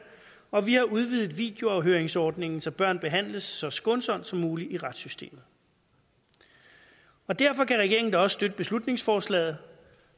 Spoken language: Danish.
og vi har udvidet videoafhøringsordningen så børn behandles så skånsomt som muligt i retssystemet derfor kan regeringen da også støtte beslutningsforslaget